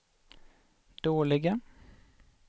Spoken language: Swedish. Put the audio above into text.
dåliga